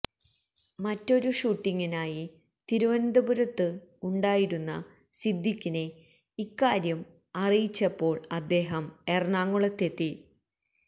മറ്റൊരു ഷൂട്ടിംഗിനായി തിരുവനന്തപുരത്ത് ഉണ്ടായിരുന്ന സിദ്ധിഖിനെ ഇക്കാര്യം അറിയിച്ചപ്പോള് അദ്ദേഹം എറണാകുളത്തെത്തി